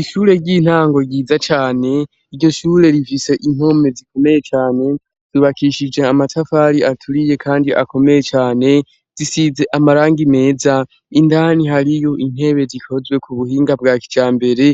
Ishure ry'intango ryiza cane, iryo shure rifise impome zikomeye cane, zubakishije amatafari aturiye kandi akomeye cane, zisize amarangi meza, indani hariyo intebe rikozwe ku buhinga bwa kijambere,